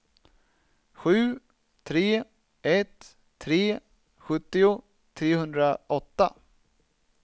sju tre ett tre sjuttio trehundraåtta